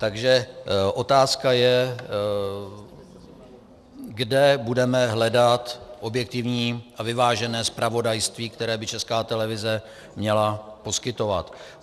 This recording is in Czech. Takže otázka je, kde budeme hledat objektivní a vyvážené zpravodajství, které by Česká televize měla poskytovat.